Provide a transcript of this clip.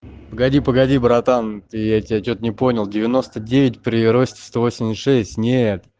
погоди погоди братан я тебя что-то не понял девяносто девять при росте сто восемьдесят шесть нет